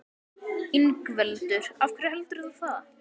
Ingveldur: Af hverju heldurðu það?